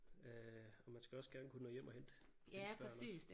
Øh og man skal også gerne kunne nå hjem og hente sine børn også